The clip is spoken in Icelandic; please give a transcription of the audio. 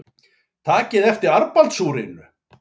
Takið eftir armbandsúrinu.